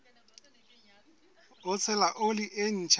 ho tshela oli e ntjha